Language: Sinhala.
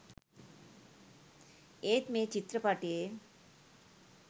ඒත් මේ චිත්‍රපටයේ